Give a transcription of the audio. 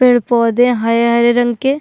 पेड़-पौधे हरे-हरे रंग के --